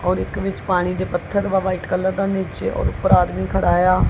ਔਰ ਇੱਕ ਵਿੱਚ ਪਾਣੀ ਦੇ ਪੱਥਰ ਵਾ ਵ੍ਹਾਈਟ ਕਲਰ ਦਾ ਨੀਚੇ ਔਰ ਊਪਰ ਆਦਮੀ ਖੜਾ ਵਾ।